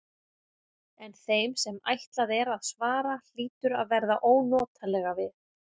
En þeim sem ætlað er að svara hlýtur að verða ónotalega við.